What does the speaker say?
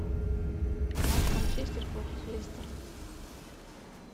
матч манчестер против лестера